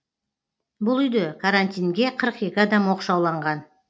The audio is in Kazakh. бұл үйде карантинге қырық екі адам оқшауланған